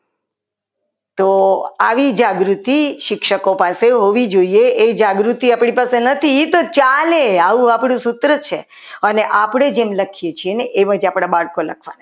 તો આવી જાગૃતિ શિક્ષકો પાસે હોવી જોઈએ એ જાગૃતિ પણ નથી એ એ ચાલે આવું આપણું સૂત્ર છે અને આપણે જેમ લખીએ છીએ એમાંથી આપણા બાળકો લખવાના છે.